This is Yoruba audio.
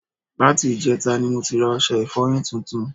Láti ìjẹtata ni mo ti ra ọṣẹ ìfọyín tuntun